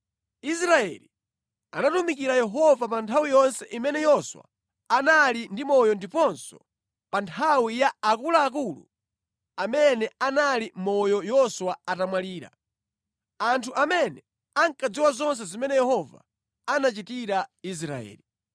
Israeli anatumikira Yehova pa nthawi yonse imene Yoswa anali ndi moyo ndiponso pa nthawi ya akuluakulu amene anali moyo Yoswa atamwalira, anthu amene ankadziwa zonse zimene Yehova anachitira Israeli.